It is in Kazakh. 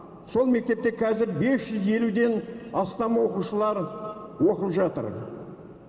сол мектепте қазір бес жүз елуден астам оқушылар оқып жатыр